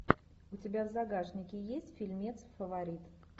у тебя в загашнике есть фильмец фаворит